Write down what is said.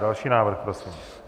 Další návrh prosím.